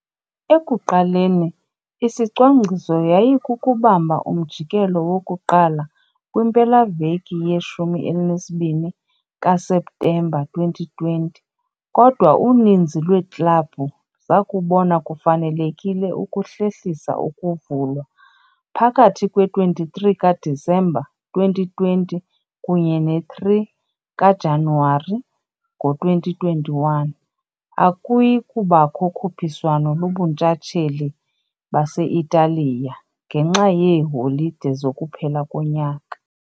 Ekuqaleni, isicwangciso yayikukubamba umjikelo woku-1 kwimpelaveki ye-12 kaSeptemba 2020, kodwa uninzi lweeklabhu zakubona kufanelekile ukuhlehlisa ukuvulwa. Phakathi kwe-23 kaDisemba, 2020 kunye ne-3 kaJanuwari, ngo-2021 akuyi kubakho ukhuphiswano lobuNtshatsheli base-Italiya, ngenxa yeeholide zokuphela konyaka.